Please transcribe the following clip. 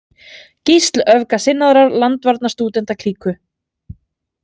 Gísl öfgasinnaðrar landvarnarstúdentaklíku.